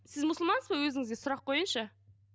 сіз мұсылмансыз ба өзіңізге сұрақ қояйыншы